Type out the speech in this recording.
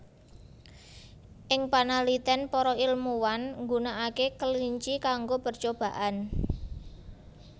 Ing panalitén para ilmuwan nggunakaké kelinci kango percobaan